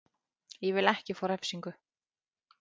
Ég vil ekki fá refsingu.